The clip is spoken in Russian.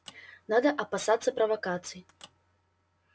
надо опасаться провокаций